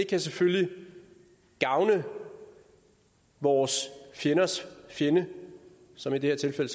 det selvfølgelig kan gavne vores fjendes fjende som i det her tilfælde